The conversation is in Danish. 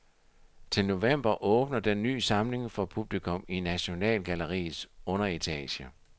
Til november åbner den ny samling for publikum i nationalgalleriets underetage.